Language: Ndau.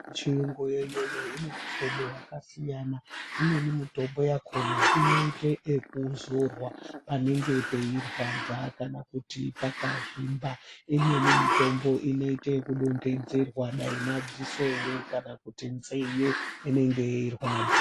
Yechirungu iyoyo ins mihlobo yakasiyana imweni mitombo yakona inoita yekudzorwa panenge pachirwadza kana kuti pakazvimba imweni mitombo inoita yekudonhedzerwa dai madziso ere kana kuti nzeve dzinenge dzichirwadza.